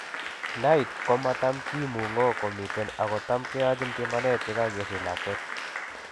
NAIT komatam kimungo komiten ago tam keyachin bimanet yekagesich lakwet